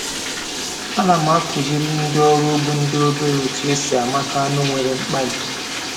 A na m akụziri ndị ọrụ ugbo ndị obere otu esi amata anụ nwere mkpali